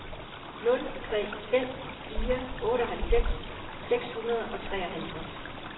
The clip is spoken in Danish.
nul tre fem fire otteoghalvfems seks hundrede og treoghalvtreds